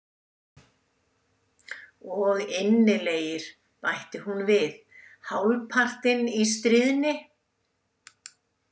Og innilegir, bætti hún við, hálfpartinn í stríðni.